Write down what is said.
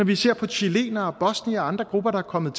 vi ser på chilenere bosniere og andre grupper der er kommet